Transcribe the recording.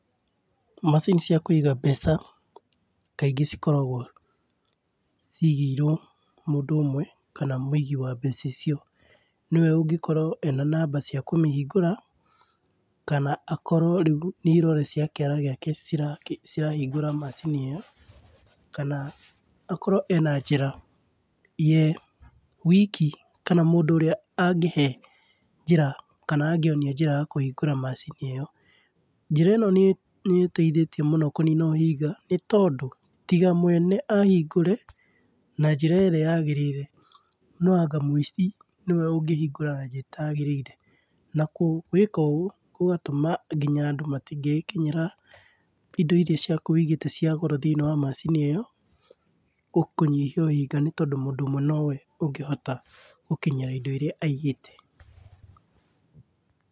Macini cia kũiga mbeca, kaingĩ cikoragwo cigĩirwo mũndũ ũmwe, kana mũigi wa mbeca icio nĩwe ũngĩkorwo ena namba cia kũmĩhingũra, kana akorwo nĩ irore ciake cirahingũra macini ĩyo, kana akorwo ena njĩra ye wiki, kana mũndũ ũrĩa angĩhe njĩra kana angĩonia njĩra ya kũhingũra macini ĩyo. Njĩra ĩno nĩ ĩteithĩtie mũno kũnina ũhinga nĩ tondũ, tiga mwene ahingũre na njĩra ĩrĩa yagĩrĩire, no anga mũici nĩwe ũngĩhingũra na njĩra ĩtagĩrĩire. Na gwĩka ũguo gũgatũma nginya andũ matingĩgĩkinyĩra indo iria ciaku wigĩte cia goro thĩiniĩ wa macini ĩyo, kũnyihia ũhionga tondũ mũndũ ũmwe nowe ũngĩhota gũkinyĩra indo iria aigĩte.